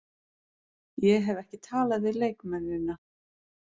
Ég hef ekki talað við leikmennina.